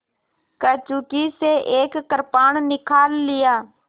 कंचुकी से एक कृपाण निकाल लिया